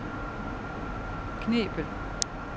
Knebel